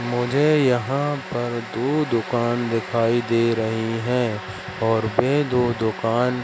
मुझे यहां पर दो दुकान दिखाई दे रही है और वे दो दुकान--